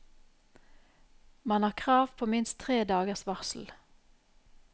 Man har krav på minst tre dagers varsel.